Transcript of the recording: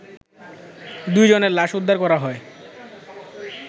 দুই জনের লাশ উদ্ধার করা হয়